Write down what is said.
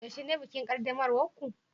yaushe ne bikin qaddamarwar ku